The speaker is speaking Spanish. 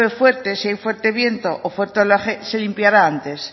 fuerte si hay fuerte viento o fuerte oleaje se limpiará antes